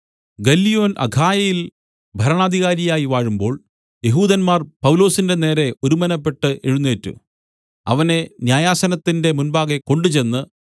ഗല്ലിയോൻ അഖായയിൽ ഭരണാധികാരിയായി വാഴുമ്പോൾ യെഹൂദന്മാർ പൗലൊസിന്റെ നേരെ ഒരുമനപ്പെട്ട് എഴുന്നേറ്റ് അവനെ ന്യായാസനത്തിന്റെ മുമ്പാകെ കൊണ്ടുചെന്ന്